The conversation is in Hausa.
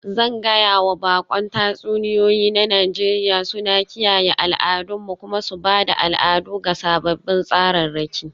Zan gaya wa baƙon tatsuniyoyi na Nijeriya suna kiyaye al'adunmu kuma su ba da al'adu ga sababbin tsararraki.